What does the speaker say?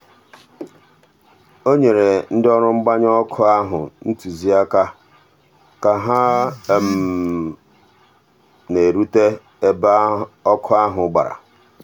o nyere ndị ọrụ mgbanyụ ọkụ ahụ ntụziaka ka ha na-erute ebe ọkụ ahụ gbara.